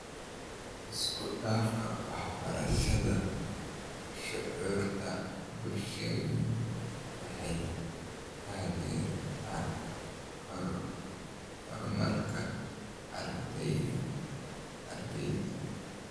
Isku dhafka waxbarashada shucuurta-bulsheed waxay taageertaa horumarka ardayga.